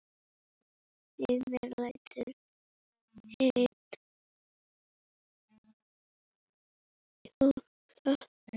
Heimir: Lætur einn sjúkling deyja?